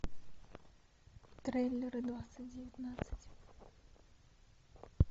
трейлеры двадцать девятнадцать